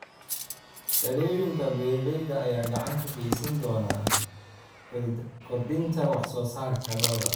Talooyinka beeralayda ayaa gacan ka geysan doona kordhinta wax soo saarka lo'da.